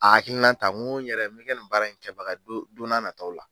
A hakilina ta n ko n yɛrɛ bɛ kɛ nin baara in kɛbaga don n'a nata la.